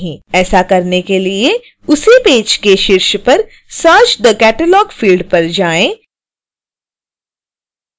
ऐसा करने के लिए उसी पेज के शीर्ष पर search the catalog फिल्ड पर जाएँ